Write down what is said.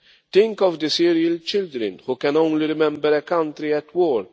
Think of the Syrian children, who can only remember a country at